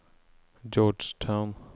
Georgetown